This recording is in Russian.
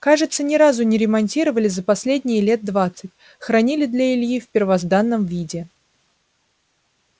кажется ни разу не ремонтировали за последние лет двадцать хранили для ильи в первозданном виде